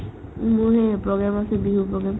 উম্, মোৰ সেই program আছে বিহুৰ program